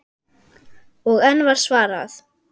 Og enn var svarað